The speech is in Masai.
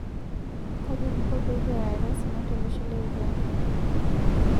Kaji kingo pee kiarare osina tolosho le Uganda?